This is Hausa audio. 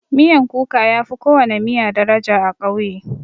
Miyan kuka yafi kowana miya daraja a ƙauye.